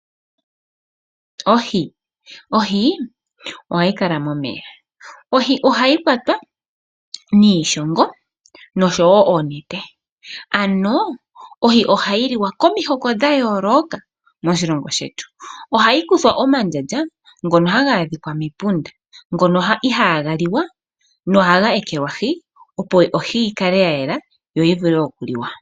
Ohi ohayi kala momeya. Ohi ohayi kwatwa niishongo noshowo oonete , ano ohi ohayi liwa komihoko dha yooloka moshilongo shetu. Ohayi kuthwa omandjandja ngono haga adhika mepunda , ngono ihaga liwa nohaga ekelwahi opo ohi yikale yayela yoyivule okuliwa.